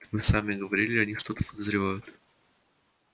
вы сами говорили они что-то подозревают